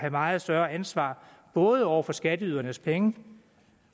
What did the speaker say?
meget større ansvar over for skatteydernes penge